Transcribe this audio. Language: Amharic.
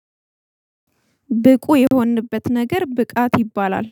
ብቁ የሆንበት ነገር ብቃት ይባላል